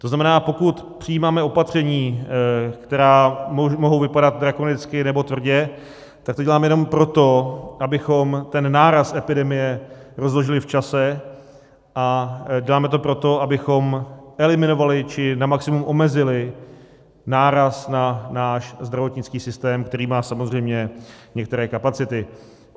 To znamená, pokud přijímáme opatření, která mohou vypadat drakonicky nebo tvrdě, tak to děláme jenom proto, abychom ten náraz epidemie rozložili v čase, a děláme to proto, abychom eliminovali či na maximum omezili náraz na náš zdravotnický systém, který má samozřejmě některé kapacity.